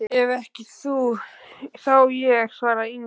Ef ekki þú, þá ég, svaraði Ingimundur.